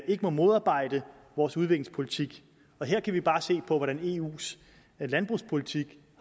ikke må modarbejde vores udviklingspolitik og her kan vi bare se på hvordan eus landbrugspolitik